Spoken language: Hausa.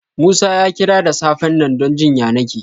Musa ya kira da safen nan don jin ƴanake.